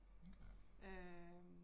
Okay